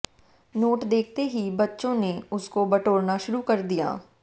note देखते ही बच्चों ने उसको बटौरना शुरू कर दिया